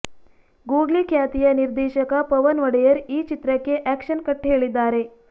googly ಖ್ಯಾತಿಯ ನಿರ್ದೇಶಕ ಪವನ್ ಒಡೆಯರ್ ಈ ಚಿತ್ರಕ್ಕೆ ಆಕ್ಷನ್ ಕಟ್ ಹೇಳಿದ್ದಾರೆ